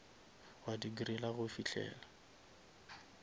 wa di griller go fihlela